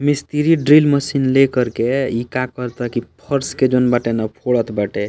मिस्त्री drill machine ले करके इ का कराता की फर्श के जोन बाटे ना फोड़त बाटे।